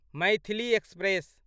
Maithili express